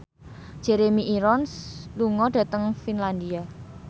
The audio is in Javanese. Jeremy Irons lunga dhateng Finlandia